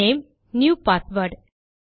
name new password